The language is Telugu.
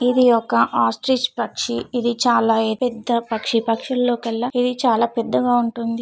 ఇది ఒక ఆస్ట్రిచ్ పక్షి. ఇది చాలా పెద్ద పక్షి. పక్షిలో కెల్లా ఇది--